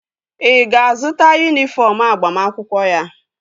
Ị ga-azụta yunifọm agbamakwụkwọ ya?